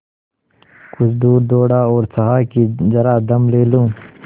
कुछ दूर दौड़ा और चाहा कि जरा दम ले लूँ